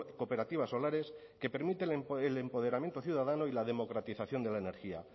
cooperativas solares que permiten el empoderamiento ciudadano y la democratización de la energía